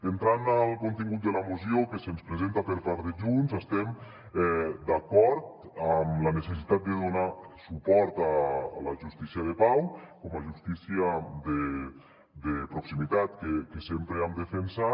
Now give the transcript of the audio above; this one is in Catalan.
entrant en el contingut de la moció que se’ns presenta per part de junts estem d’acord amb la necessitat de donar suport a la justícia de pau com a justícia de proximitat que sempre hem defensat